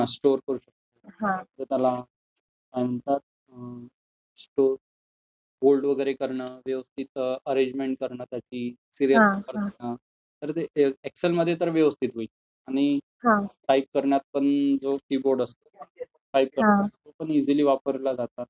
Store करून ठेऊ शकतो. त्याला होल्ड वगैरे करणं, व्यवस्थित अरेंजमेंट करणं त्याची, तर एक्सेलमध्ये तर ते व्यवस्थित होईल. आणि टाईप करण्यात पण जो कीबोर्ड असतो, तो पण इझिली वापरला जातो.